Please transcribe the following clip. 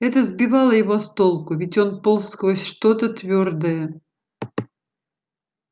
это сбивало его с толку ведь он полз сквозь что то твёрдое